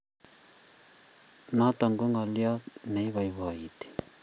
Notok ko ngoliot ne iboiboiti